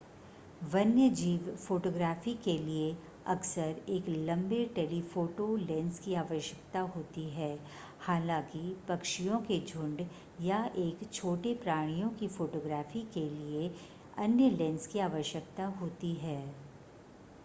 वन्यजीव फ़ोटोग्राफ़ी के लिए अक्सर एक लंबे टेलीफ़ोटो लेंस की आवश्यकता होती है हालांकि पक्षियों के झुंड या एक छोटे प्राणियों की फ़ोटोग्राफ़ी के लिए अन्य लेंस की आवश्यकता होती है